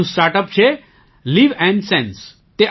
એક બીજું startup છે લિવ્નસેન્સ